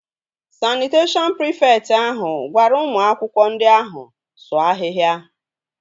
Sanịteshọn prịfekt ahụ gwara ụmụ akwụkwọ ndị ahụ sụọ ahịhịa